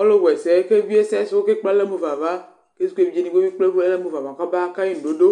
ɔlu wẽssẽ kébie sɛsũ kékplé alɔ mufava k'evidze dibi ekpealɔ kɔba kai ñudodo